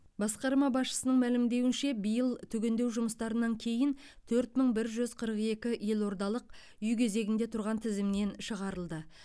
басқарма басшысының мәлімдеуінше биыл түгендеу жұмыстарынан кейін төрт мың бір жүз қырық екі елордалық үй кезегінде тұрған тізімнен шығарылды